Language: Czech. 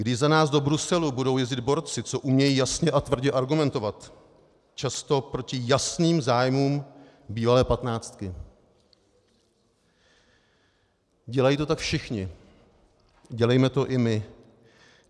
Když za nás do Bruselu budou jezdit borci, co umějí jasně a tvrdě argumentovat, často proti jasným zájmům bývalé patnáctky - dělají to tak všichni, dělejme to i my.